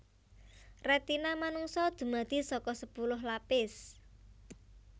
Retina manungsa dumadi saka sepuluh lapis